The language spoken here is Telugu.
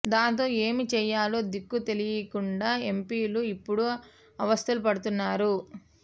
దాంతో ఏమి చేయాలో దిక్కు తెలీకుండా ఎంపిలు ఇపుడు అవస్తలు పడుతున్నారు